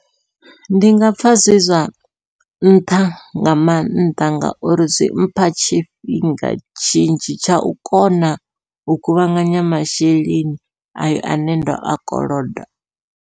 Ndi nga pfha zwi zwa nṱha nga maanḓa, ngauri zwimpha tshifhinga tshinzhi tshau kona u kuvhanganya masheleni ayo ane ndo a koloda.